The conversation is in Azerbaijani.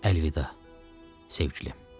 Əlvida, sevgilim.